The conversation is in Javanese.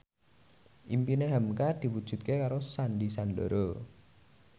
impine hamka diwujudke karo Sandy Sandoro